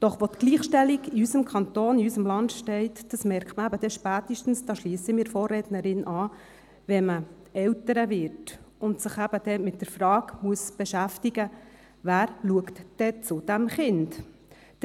Doch wo die Gleichstellung in unserem Kanton, in unserem Land steht, das merkt man eben spätestens dann – hier schliesse ich mich meiner Vorrednerin an –, wenn man Eltern wird und sich mit der Frage beschäftigen muss, wer zum Kind schaut.